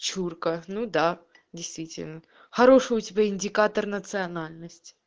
чурка ну да действительно хороший у тебя индикатор национальность